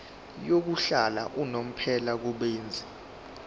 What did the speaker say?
yokuhlala unomphela kubenzi